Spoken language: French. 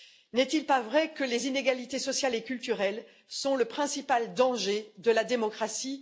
N'est il pas vrai que les inégalités sociales et culturelles sont le principal danger de la démocratie?